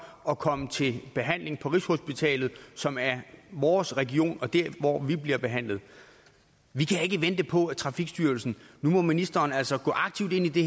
og komme til behandling på rigshospitalet som er vores region og der hvor vi bliver behandlet vi kan ikke vente på trafikstyrelsen nu må ministeren altså gå aktivt ind i det